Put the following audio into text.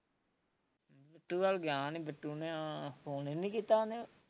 ਬਿੱਟੂ ਵੱਲ ਗਿਆ ਨੀ ਬਿੱਟੂ ਨੇ ਹਾਂ phone ਨੀ ਕੀਤਾ ਉਹਨੇ